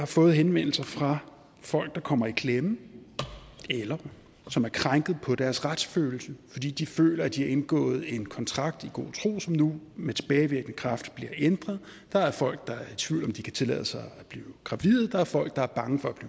fået henvendelser fra folk der kommer i klemme eller som er krænket på deres retsfølelse fordi de føler at de har indgået en kontrakt i god tro som nu med tilbagevirkende kraft bliver ændret der er folk der er i tvivl om om de kan tillade sig at blive gravide der er folk der er bange for at